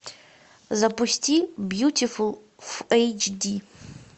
запусти бьютифул в эйч ди